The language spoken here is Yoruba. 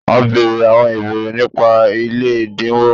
A bere awon ibeere nipa ile edinwo